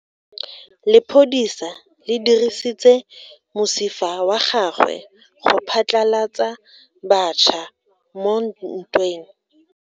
Lepodisa le dirisitse mosifa wa gagwe go phatlalatsa batšha mo ntweng.